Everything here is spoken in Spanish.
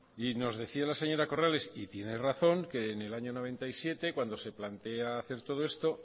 nos decía la señora corrales y tiene razón que en el año mil novecientos noventa y siete cuando se plantea hacer todo esto